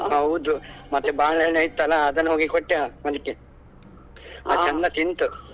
ಹೌದು ಮತ್ತೆ ಬಾಳೆಹಣ್ಣು ಇತ್ತಲ್ಲಾ ಅದನ್ನ ಹೋಗಿ ಕೊಟ್ಟೆ ಅದ್ಕೆ ಚಂದ ತಿಂತು.